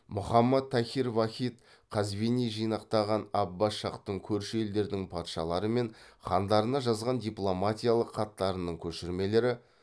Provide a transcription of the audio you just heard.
мұхаммад тахир вахид қазвини жинақтаған аббас шахтың көрші елдердің патшалары мен хандарына жазған дипломатиялық хаттарының көшірмелері